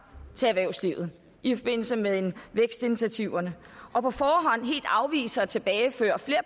til erhvervslivet i forbindelse med vækstinitiativerne og på forhånd helt afviser at tilbageføre flere